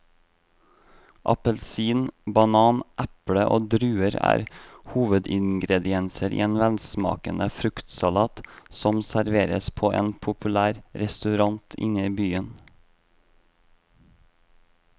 Appelsin, banan, eple og druer er hovedingredienser i en velsmakende fruktsalat som serveres på en populær restaurant i byen.